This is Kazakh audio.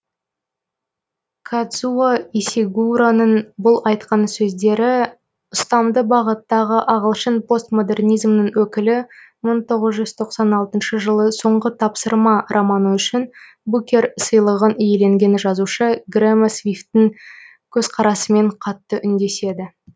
кадзуо исигуроның бұл айтқан сөздері ұстамды бағыттағы ағылшын постмодернизмінің өкілі мың тоғыз жүз тоқсан алтыншы жылы соңғы тапсырма романы үшін букер сыйлығын иеленген жазушы грэма свифттің көзқарасымен қатты үндеседі